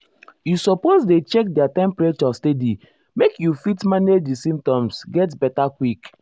you suppose dey check their temperature steady make you fit manage di symptoms get beta quick.